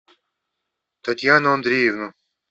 татьяну андреевну